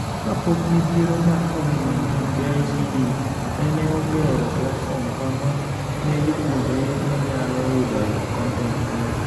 Ka pok midhiero mar Covid-19,KICD neneogero platform kama ne jopuonjre nenyalo yudoe kontent nono.